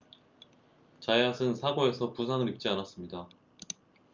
자얏은 사고에서 부상을 입지 않았습니다